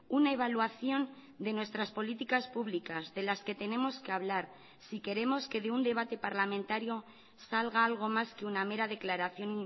una evaluación de nuestras políticas públicas de las que tenemos que hablar si queremos que de un debate parlamentario salga algo más que una mera declaración